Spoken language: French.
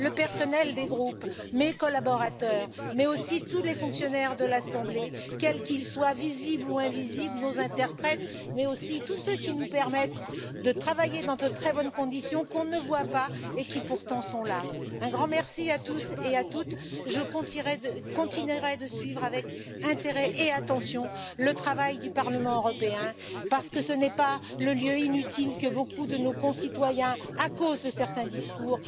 le personnel des groupes, mes collaborateurs, mais aussi tous les fonctionnaires de l'Assemblée, quels qu'ils soient, visibles ou invisibles, nos interprètes, mais aussi tous ceux qui nous permettent de travailler dans de très bonnes conditions, qu'on ne voit pas et qui pourtant sont là. Un grand merci à tous et à toutes, je continuerai de suivre avec intérêt et attention le travail du Parlement européen, parce que ce n'est pas un lieu inutile, comme veulent nous le faire croire beaucoup de nos concitoyens, à cause de certains discours.